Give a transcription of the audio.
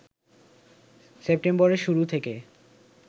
সেপ্টেম্বরের শুরু থেকে